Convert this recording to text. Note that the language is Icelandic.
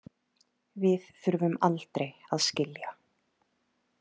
Við þurfum aldrei að skilja.